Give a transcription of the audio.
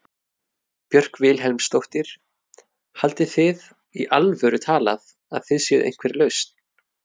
Björk Vilhelmsdóttir: Haldið þið í alvöru talað að þið séuð einhver lausn?